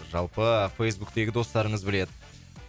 жалпы фейсбуктегі достарыңыз біледі